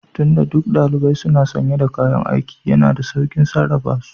Tun da duk ɗalibai suna sanye da kayan aiki, yana da sauƙin sarrafa su